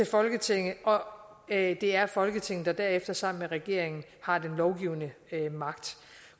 folketinget og at det er folketinget der derefter sammen med regeringen har den lovgivende magt